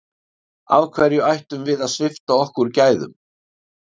Af hverju ættum við að svipta okkur gæðum?